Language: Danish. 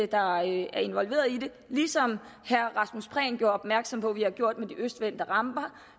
der er involveret i det ligesom herre rasmus prehn gjorde opmærksom på at vi har gjort med det de østvendte ramper